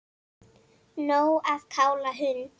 Nóg að kála hund